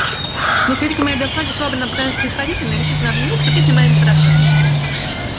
но к великой моей досаде швабрин обыкновенно снисходительный решительно объявил что песня моя нехороша